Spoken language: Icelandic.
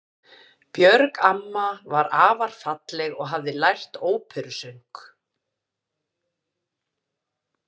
Björg amma var afar falleg og hafði lært óperusöng.